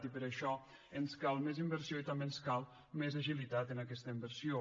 i per això ens cal més inversió i també ens cal més agilitat en aquesta inversió